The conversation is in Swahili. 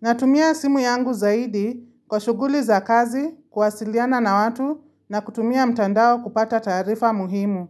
Natumia simu yangu zaidi kwa shuguli za kazi, kuwasiliana na watu na kutumia mtandao kupata tarifa muhimu.